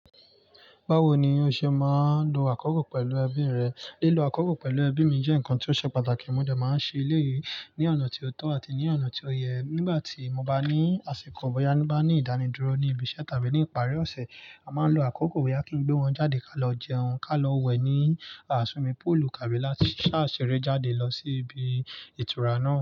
Báwo ni o ṣe máa ń lo àkókò pẹ̀lú ẹbí rẹ? Lílo àkókò pẹ̀lú ẹbí mi jẹ́ nǹkan tí ó ṣe pàtàkì. Mo dà máa ń ṣe eléyìí ní ọ̀nà tí ó tọ́ àti ní ọ̀nà tí ó yẹ. Nígbà tí mo bá ní àsìkò, bóyá tí mo bá ní ìdánidúró ní ibi iṣẹ́ tàbí ní ìparí ọ̀sẹ̀, a máa ń lo àkókò bóyá kí n gbé wọn jáde ká lọ jẹun, ká lọ wẹ̀ ní swimming póòlù tàbí láti sá ṣeré jáde lọ sí ibi ìtura náà.